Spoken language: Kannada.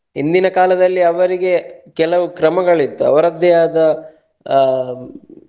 ಹಿಂದಿನ ಕಾಲದಲ್ಲಿ ಅವರಿಗೆ ಕೆಲವು ಕ್ರಮಗಳು ಇತ್ತು ಅವರದ್ದೇ ಆದ ಆ.